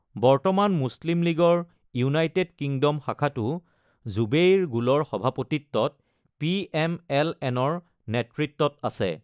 বৰ্তমান মুছলিম লীগৰ ইউনাইটেড কিংডম শাখাটো জুবেইৰ গুলৰ সভাপতিত্বত, পিএমএল-এনৰ নেতৃত্বত আছে।